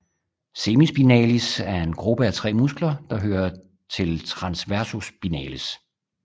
Semispinalis er en gruppe af tre muskler der hører til transversospinales